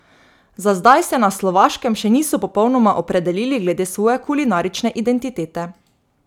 Za zdaj se na Slovaškem še niso popolnoma opredelili glede svoje kulinarične identitete.